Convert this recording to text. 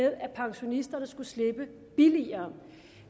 at pensionisterne skulle slippe billigere